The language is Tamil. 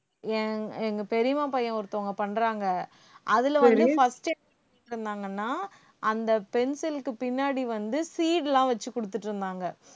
எங்~ எங்க பெரியம்மா பையன் ஒருத்தவங்க பண்றாங்க அதுல வந்து first அந்த pencil க்கு பின்னாடி வந்து seed எல்லாம் வச்சு கொடுத்திட்டு இருந்தாங்க